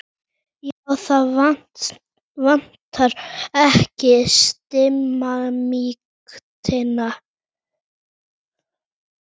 Já, það vantar ekki stimamýktina.